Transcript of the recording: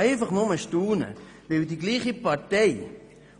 Dieselbe Partei,